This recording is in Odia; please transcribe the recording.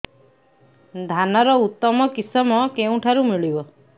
ଧାନର ଉତ୍ତମ କିଶମ କେଉଁଠାରୁ ମିଳିବ